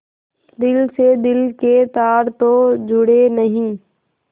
दिल से दिल के तार तो जुड़े नहीं